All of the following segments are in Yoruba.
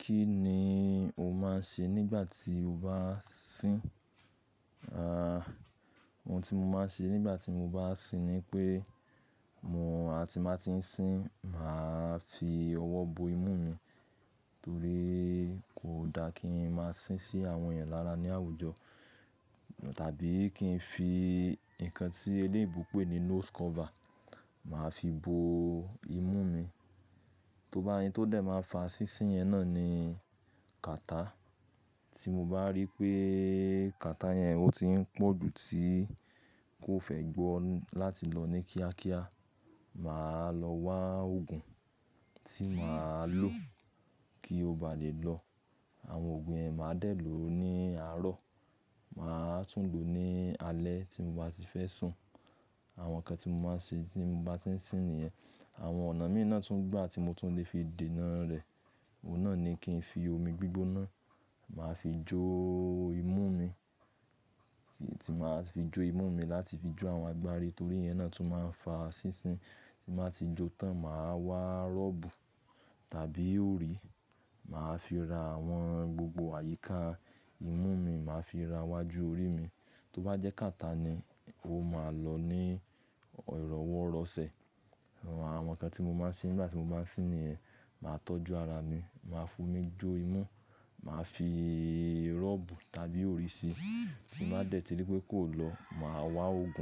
Kí ni o máa ń ṣe nígbà tí o bá sín? À, ohun tí mo máa ń ṣe nígbà tí mo bá sín ni pé mo, àti má tí ń sín, mà á fi ọwọ́ bo imú mi, torí kò da kí n máa sín sí àwọn ènìyàn lára ní àwùjọ tàbí kí n fi nǹkan tí eléébó pé ní nose cover, mà á fi bo imú mi. Tó bá yín tó dẹ̀ máa fa sísín yẹn náà ni catarrh tí mo bá rí pé catarrh yẹn ó ti ń pọ̀ ju tí kó fẹ́ gbọ́ láti lọ ní kíákíá, mà á lọ wa òògùn tí mà á lò kí ó ba lè lọ. Àwọn òògùn yẹn mà á dẹ̀ lò ó ní àárọ̀. Mà á tún lò ó ní alẹ́ tí mo bá ti fẹ́ sùn. Àwọn nǹkan tí mo máa ń ṣe tí mo bá ti ń sín nìyẹn. Àwọn ọ̀nà míì náà tún gbà tí mo tún lè fi dènà rẹ̀, òun náà ni kí n fi omi gbígbóná, mà á fi jó imú mi. Tí mà á fi jó imú mi láti fi jó àwọn agbárí torí yẹn náà tún máa ń fa sísin. Tí mà á ti jó tán, mà á wa rọ́bù tàbí òrí, mà á fi ra àwọn gbogbo àyíká imú mi, mà á fi ra iwájú orí mi. To ba je catarrh ni, o ma lo ni iroworose. Àwọn nǹkan tí mo máa ń ṣe nígbà tí mo bá sín nìyẹn. Mà á tọ́jú ara mi, mà á f'omi jó imú, mà á fi rọ́bù tàbí òrí ṣi. Tí mà á dẹ̀ ti rí pé kò lọ, mà á wa òògùn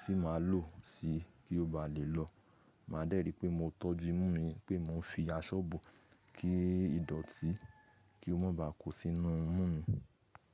tí mà á lò ó sí i kí ó ba lè lọ. Mà á dẹ̀ rí i pé mo tọ́jú imú mi, pé mo ń fi aṣọ bò ó kí í dọ̀tí, kí ó má ba à kó sínú imú mi.